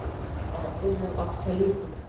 а он был абсолютно